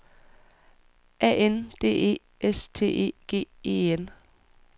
A N D E S T E G E N